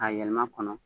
K'a yɛlɛma kɔnɔ